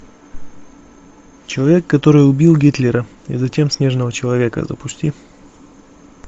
человек который убил гитлера и затем снежного человека запусти